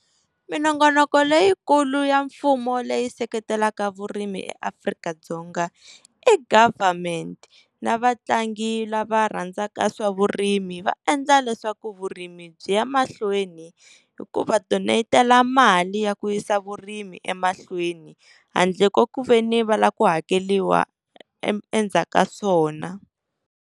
Minongonoko leyikulu ya mfumo leyi seketelaka vurimi eAfrika-Dzonga i government na vatlangi lava rhandzaka swa vurimi va endla leswaku vurimi byi ya mahlweni hi ku va donate-ela mali ya ku yisa vurimi emahlweni, handle ko ku veni va la ku hakeriwa endzhaku ka swona.